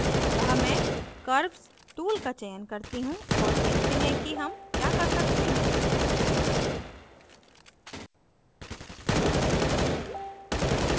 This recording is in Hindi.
अतः मैं curves tool का चयन करती हूँ और देखते हैं कि हम क्या कर सकते हैं